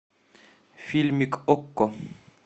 фильмик окко